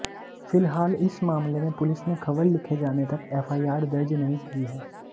फिलहाल इस मामले में पुलिस ने खबर लिखे जाने तक एफआईआर दर्ज नहीं की है